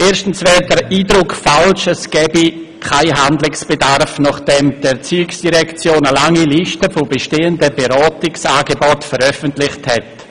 Erstens wäre der Eindruck falsch, es gäbe keinen Handlungsbedarf, nachdem die ERZ eine lange Liste mit bestehenden Beratungsangeboten veröffentlicht hat.